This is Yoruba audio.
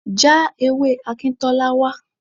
Já ewé Akintola wá.